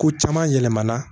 Ko caman yɛlɛmana